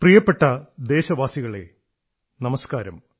പ്രിയപ്പെട്ട ദേശവാസികളേ നമസ്കാരം